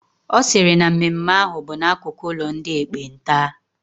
Ọ sịrị na mmemme ahụ bụ n'akụkụ ụlọ ndị ekpenta